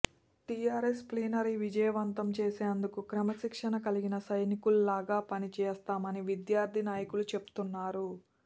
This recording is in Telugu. టీఆర్ఎస్ ప్లీనరీ విజయవంతం చేసేందుకు క్రమశిక్షణ కలిగిన సైనికుల్లాగా పని చేస్తామని విద్యార్థి నాయకులు చెప్తున్నారు